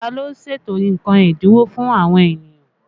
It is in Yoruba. Ta ló ń ṣètò nǹkan ẹ́dínwó fún àwọn ènìyàn?